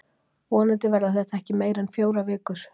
Vonandi verða þetta ekki meira en fjórar vikur.